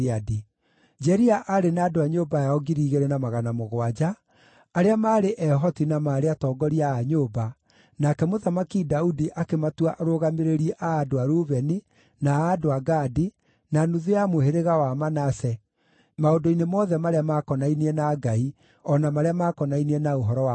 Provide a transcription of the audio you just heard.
Jeria aarĩ na andũ a nyũmba yao 2,700 arĩa maarĩ ehoti na maarĩ atongoria a nyũmba, nake Mũthamaki Daudi akĩmatua arũgamĩrĩri a andũ a Rubeni, na a andũ a Gadi, na nuthu ya mũhĩrĩga wa Manase maũndũ-inĩ mothe marĩa maakonainie na Ngai, o na marĩa maakonainie na ũhoro wa mũthamaki.